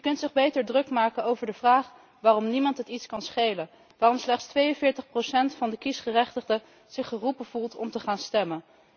U kunt zich beter druk maken over de vraag waarom het niemand iets kan schelen, waarom slechts 42 procent van de kiesgerechtigden zich geroepen voelt om te gaan stemmen.